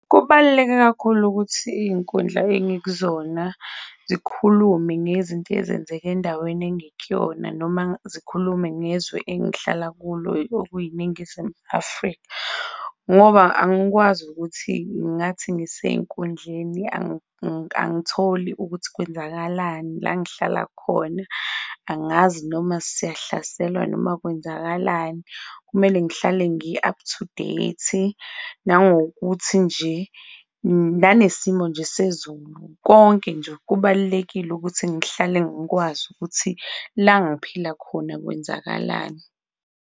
Kubaluleke kakhulu ukuthi iyinkundla engikuzona zikhulume ngezinto ezenzeke endaweni engikuyona noma zikhulume ngezwe engihlala kulo okuyi-Ningizimu Afrika ngoba angikwazi ukuthi ngathi ngiseyinkundleni angitholi ukuthi kwenzakalani langihlala khona, angazi noma siyahlaselwa noma kwenzakalani. Kumele ngihlale ngi-up-to-date nangokuthi nje nanesimo nje sezulu, konke nje kubalulekile ukuthi ngihlale ngikwazi ukuthi la ngiphila khona kwenzakalani?